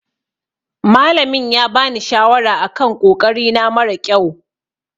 Malamin ya bani shawara a kan ƙoƙari na mara ƙyau.